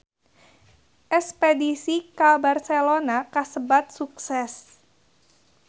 Espedisi ka Barcelona kasebat sukses